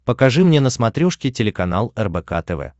покажи мне на смотрешке телеканал рбк тв